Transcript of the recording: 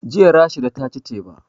Jiya Rashida ta ci teba